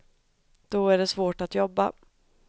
Då är det svårt att jobba.